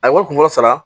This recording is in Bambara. A ye wari kunko sara